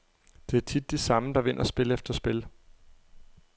Det er tit de samme, der vinder spil efter spil.